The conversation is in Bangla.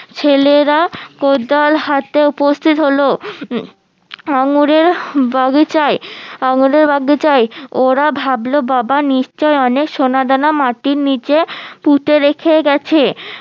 ছেলেরা কোদাল হাতে উপস্থিত হলো উম আঙুরের বাগিচায় আঙুরের বাগিচায় ওরা ভাবলো বাবা নিশ্চই অনেক সোনাদানা মাটির নিচে পুঁতে রেখে গেছে